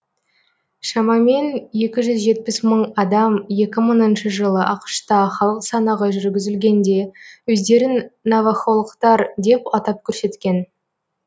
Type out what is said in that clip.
шамамен екі жүз жетпіс мың адам екі мыңыншы жылы ақш та халық санағы жүргізілгенде өздерін навахолықтар деп атап көрсеткен